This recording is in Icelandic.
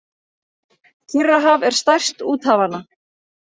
Kyrrahaf er stærst úthafanna.